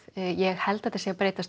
ég held þetta sé að breytast